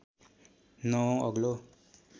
नवौँ अग्लो